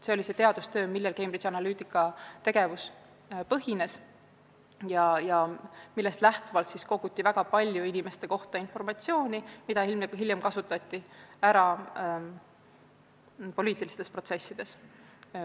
Seda näitas ka see teadustöö, millel Cambridge Analytica tegevus põhines ja millest lähtuvalt koguti inimeste kohta väga palju informatsiooni, mida hiljem kasutati ära poliitilistes protsessides.